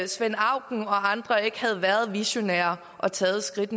svend auken og andre ikke havde været så visionære at tage det skridt